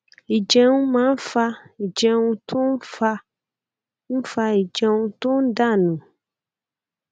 ìjẹun máa ń fa ìjẹun tó ń fa ń fa ìjẹun tó ń dà nù